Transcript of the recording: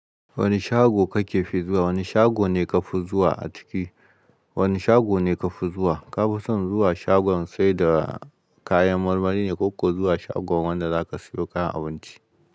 Wani shago kakefi zuwa? Wani shago ne kafi zuwa a ciki? Wani shago ne kafi zuwa? Kafi son zuwa shagon saida kayan marmari ne koko zuwa shagon wanda zaka siyo kayan abinci?